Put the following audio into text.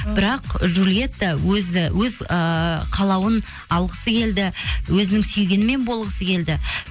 бірақ джулиетта өз ыыы қалауын алғысы келді өзінің сүйгенімен болғысы келді